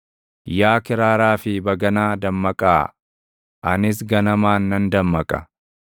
Yaa kiraaraa fi baganaa dammaqaa! Anis ganamaan nan dammaqa.